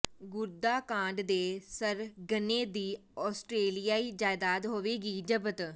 ਗੁਰਦਾ ਕਾਂਡ ਦੇ ਸਰਗਨੇ ਦੀ ਆਸਟਰੇਲਿਆਈ ਜਾਇਦਾਦ ਹੋਵੇਗੀ ਜ਼ਬਤ